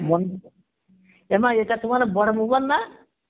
এ মা ইটা তোমার বড় mobile না?